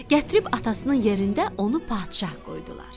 Gətirib atasının yerində onu padşah qoydular.